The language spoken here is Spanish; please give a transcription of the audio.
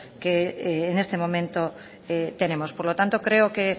que en este momento tenemos por lo tanto creo que